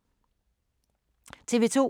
TV 2